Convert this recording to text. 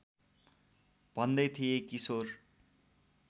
भन्दै थिए किशोर